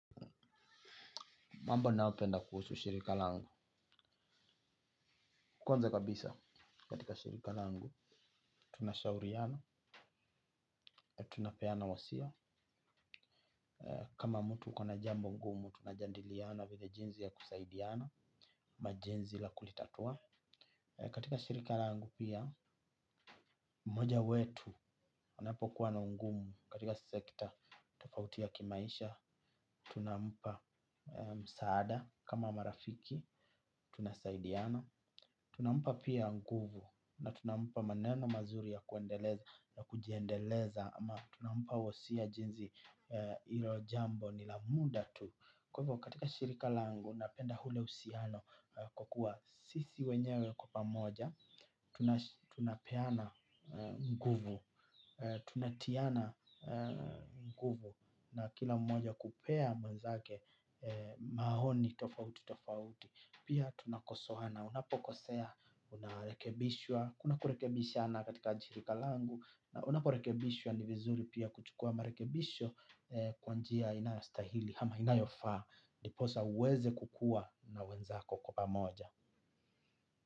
Mambo ninaopenda kuhusu shirika langu. Kwanza kabisa, katika shirika langu, tunashauriana, na tunapeana wasia. Kama mtu uko na jambo ngumu, tunajadiliana, vile jinsi ya kusaidiana, ama jinsi la kulitatua. Katika shirika langu pia, mmoja wetu, wanapo kuwa na ngumu. Katika sekta, tofauti ya kimaisha, tunampa msaada, kama marafiki, tunasaidiana. Tunampa pia nguvu na tunampa maneno mazuri ya kuendeleza na kujiendeleza ama tunampa wasia jinsii hilo jambo ni la muda tu. Kwa hivyo katika shirika langu napenda ule uhusiano kwa kuwa sisi wenyewe kwa pamoja, tunapeana nguvu, tunatiana nguvu na kila mmoja kupea mwenzake maoni tofauti tofauti. Pia tunakosoana na unapokosea unarekebishwa. Kuna kurekebishana katika ajirika langu. Na unaporekebishwa ni vizuri pia kuchukua marekebisho kwa njia inayostahili ama inayofaa ndiposa uweze kukua na wenzako kwa pamoja.